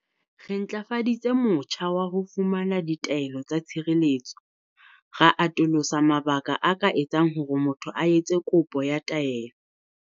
Re ntlafaditse motjha wa ho fumana ditaelo tsa tshireletso, ra atolosa mabaka a ka etsang hore motho a etse kopo ya taelo.